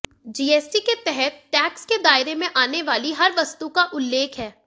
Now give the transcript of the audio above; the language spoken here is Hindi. जीएसटी के तहत टैक्स के दायरे में आने वाली हर वस्तु का उल्लेख है